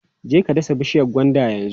Je ka dasa bishiyar gwandan yanzu!